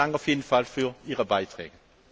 Vielen Dank auf jeden Fall für Ihre Beiträge.